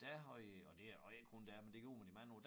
Der havde og det og ikke kun dér men det gjorde man i mange år